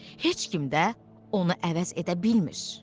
Heç kim də ona əvəz edə bilmir.